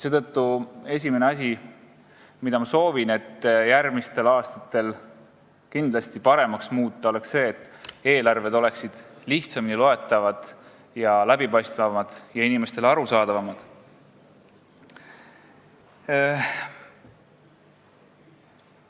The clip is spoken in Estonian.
Seetõttu on esimene asi, mida ma soovin, et järgmistel aastatel oleks eelarved lihtsamini loetavad ja läbipaistvamad, inimestele arusaadavamad.